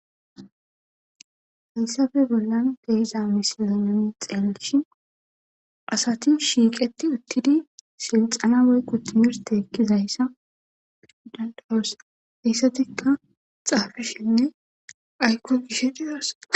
Hayssappe bollan misilezan nu xelishin asati shiqetti uttiddi silxxena oyko timmirte ekkizayssa dandda'es.hessatikka xafishenne aykko gishe dizayssa be'os.